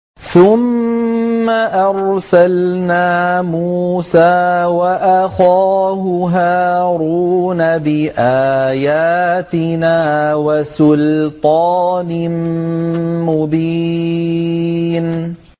ثُمَّ أَرْسَلْنَا مُوسَىٰ وَأَخَاهُ هَارُونَ بِآيَاتِنَا وَسُلْطَانٍ مُّبِينٍ